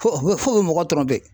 Fo mɔgɔ